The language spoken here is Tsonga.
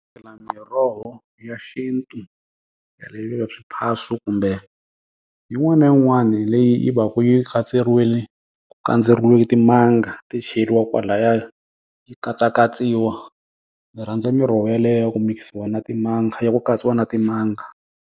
Miroho ya xintu swiphaso kumbe, yin'wana na yin'wani leyi yi va ku yi kandzeriwile timanga ti chayeriwa kwalaya, yi katsakatsiwa. Ndzi rhandza miroho yaliya ya ku mikisiwa na timanga ya ku katsiwa na timanga.